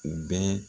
U bɛ